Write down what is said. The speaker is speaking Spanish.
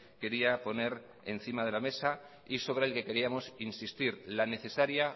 quería poner encima de la mesa y sobre el que queríamos insistir la necesaria